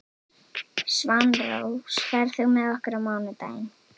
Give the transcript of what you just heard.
Svanrós, ferð þú með okkur á mánudaginn?